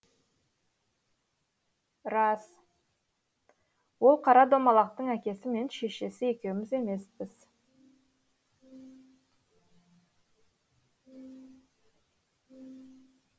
рас ол қара домалақтың әкесі мен шешесі екеуміз емеспіз